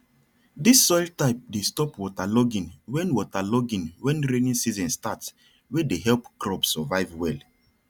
dis soil type dey stop waterlogging when waterlogging when rainy season start wey dey help crops survive well